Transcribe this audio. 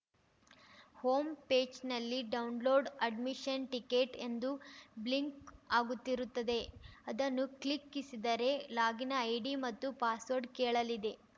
home ಪೇಜ್‌ನಲ್ಲಿ download admission ticket ಎಂದು blink ಆಗುತ್ತಿರುತ್ತದೆ ಅದನ್ನು ಕ್ಲಿಕ್ಕಿಸಿದರೆ ಲಾಗಿನ್‌ ಐಡಿ ಮತ್ತು ಪಾಸ್‌ವರ್ಡ್‌ ಕೇಳಲಿದೆ